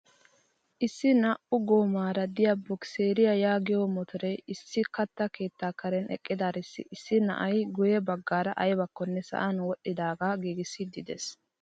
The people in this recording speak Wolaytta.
Issi naa"u goomara de'iyaa bokiseriyaa yaagiyoo motoree issi katta keettaa karen eqqidaarissi issi na'ay guye baggara aybakkone sa'an wodhidaagaa giigissiidi de'ees!